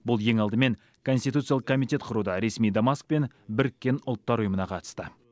бұл ең алдымен конституциялық комитет құруда ресми дамаск пен біріккен ұлттар ұйымына қатысты